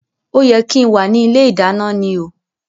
O yẹ kí n wá ní ilé ìdáná ni o